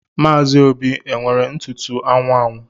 Maazi Óbì e nwere ntụtụ anwụ anwụ?